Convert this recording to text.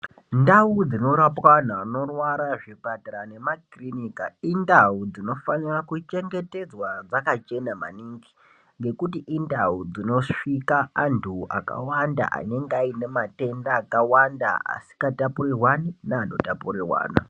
Ndau dzinorapwa vantu vanorwara muzvipatara indau dzinofanira kuchengetedzwa dzakachena maningi nekuti indau dzinosvika antu akawanda anenge ane matenda akawanda asingatapurirwani neano tapurirwana.